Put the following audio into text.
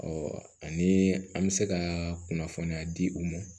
Ɔ ani an bɛ se ka kunnafoniya di u ma